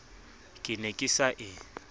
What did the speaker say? ke ne ke sa e